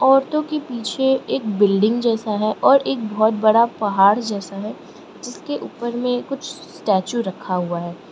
औरतों के पीछे एक बिल्डिंग जैसा है और एक बहुत बड़ा पहाड़ जैसा है जिसके ऊपर में कुछ स्टेच्यू रखा हुआ है।